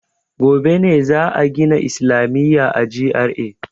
Gobe ne za a gina islamiya a GRA.